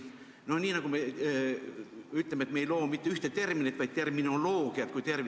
No nii nagu me ei loo sageli mitte ühte terminit, vaid terminoloogiat kui tervikut.